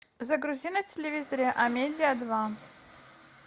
загрузи на телевизоре амедиа два